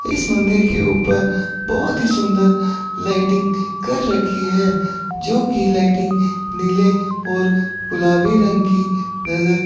इस मंदिर के ऊपर बहोत ही सुंदर लाइटिंग कर रखी है जोकि लाइटिंग नीले और गुलाबी रंग की नजर--